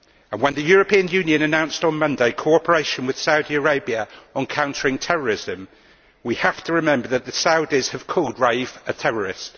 When the European Union announced, on Monday, cooperation with Saudi Arabia on countering terrorism, we have to remember that the Saudis have called Raif a terrorist.